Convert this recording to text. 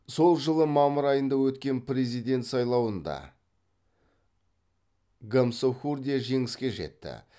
сол жылы мамыр айында өткен президент сайлауында гамсахурдия жеңіске жетті